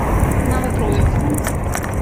новотроицку